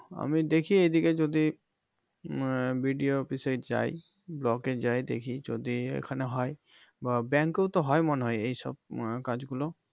আমি দেখি এইদিকে যদি আহ BDO office এ যাই block এ যাই দেখি যদি এখানে হয় বা bank এও তো হয় মনে হয় এই সব আহ কাজ গুলো